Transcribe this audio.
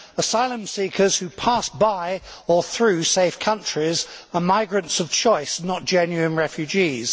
Asylum seekers who pass by, or through, safe countries are migrants of choice, not genuine refugees.